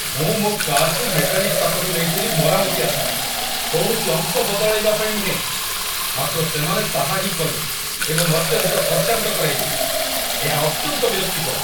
ମୁଁ ମୋ କାର୍‌କୁ ମେକାନିକ ପାଖକୁ ନେଇଥିଲି ମରାମତି ଆଶାରେ, କୌଣସି ଅଂଶ ବଦଳାଇବା ପାଇଁ ନୁହେଁ, ମାତ୍ର ସେମାନେ ତାହା ହିଁ କଲେ ଏବଂ ଅତ୍ୟଧିକ ଖର୍ଚ୍ଚାନ୍ତ କରାଇଲେ! ଏହା ଅତ୍ୟନ୍ତ ବିରକ୍ତିକର ।